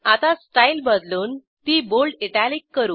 आता स्टाईल बदलून ती बोल्ड इटालिक करू